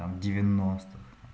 там девяностых